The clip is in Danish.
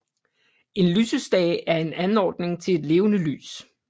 En lysestage er en anordning til et levende lys